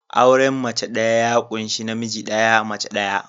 Auren mace ɗaya ya ƙunshi namiji ɗaya, mace ɗaya.